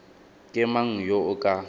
ke mang yo o ka